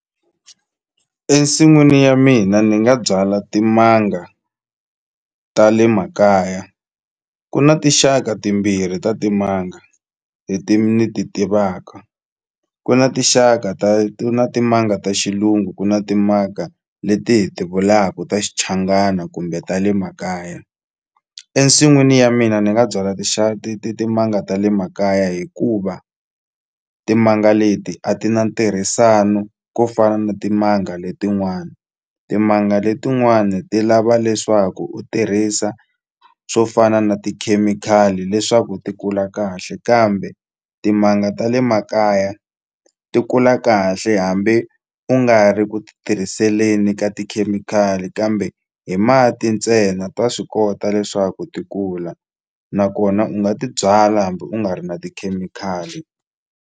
Ensin'wini ya mina ni nga byala timanga ta le makaya ku na tinxaka timbirhi ta timanga leti ni ti tivaka ku na tinxaka ta timanga ta xilungu ku na timanga leti hi ti vulaku ta xichangana kumbe ta le makaya ensin'wini ya mina ni nga byala timanga ta le makaya hikuva timanga leti a ti na ntirhisano ko fana na timanga letin'wana timanga letin'wani ti lava leswaku u tirhisa swo fana na tikhemikhali leswaku ti kula kahle kambe timanga ta le makaya ti kula kahle hambi u nga ri ku ti tirhiseni ka tikhemikhali kambe hi mati ntsena ta swi kota leswaku ti kula nakona u nga ti byala hambi u nga ri na tikhemikhali.